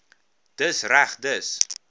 dis reg dis